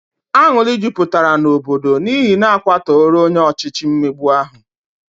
Anwụrụ jupụtara n'obodo n', n'ihi n'akwatora onye ọchịchị mmegbu ahu